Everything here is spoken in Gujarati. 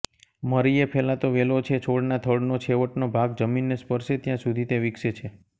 મરીએ ફેલાતો વેલો છે છોડના થડનો છેવટનો ભાગ જમીનને સ્પર્શે ત્યાં સુધી તે વિકસે છે